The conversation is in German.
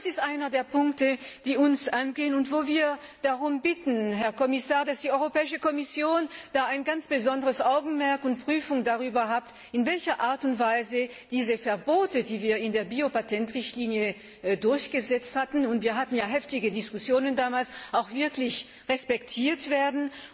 Und das ist einer der Punkte, die uns angehen und wo wir darum bitten, Herr Kommissar, dass die Kommission ein ganz besonderes Augenmerk darauf richtet und prüft, in welcher Art und Weise diese Verbote, die wir in der Biopatentrichtlinie durchgesetzt hatten und wir hatten ja heftige Diskussionen damals auch wirklich respektiert werden